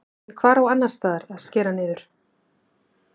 En hvar á annarsstaðar að að skera niður?